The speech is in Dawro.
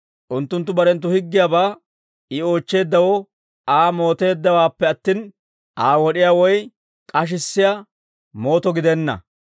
Unttunttu barenttu higgiyaabaa I oochcheeddawoo Aa mooteeddawaappe attin, Aa wod'isiyaa woy k'ashissiyaa mooto gidenna.